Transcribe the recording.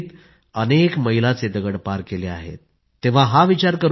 मित्रांनो सामान्यापासून असामान्य बनण्याचा जो मंत्र त्यांनी दिला आहे तो देखील तितकाच महत्वाचा आहे